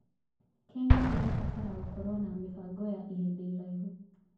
Kenya ĩrabatara gũkorwo na mĩbango ya ihinda iraihu.